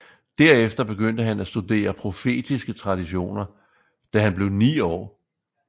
Derefter begyndte han at studere profetiske traditioner da han blev ni år